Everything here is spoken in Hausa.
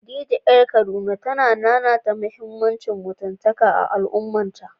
Khadija ƴar Kaduna ta nanata muhimmancin mutuntaka a al’ummarta.